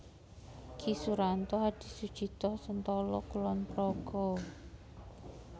Ki Suranto Hadisucito Sentolo Kulon Progo